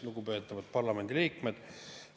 Lugupeetavad parlamendiliikmed!